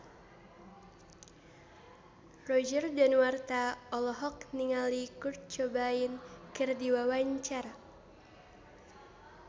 Roger Danuarta olohok ningali Kurt Cobain keur diwawancara